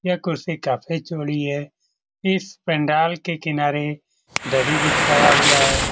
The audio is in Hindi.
यह कुर्सी काफी चौरी है इस पंडाल के किनारे दरी बिछाया हुआ है।